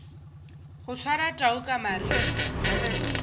go swara tau ka mariri